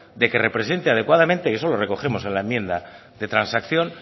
de que representa adecuadamente y eso lo recogemos en la enmienda de transacción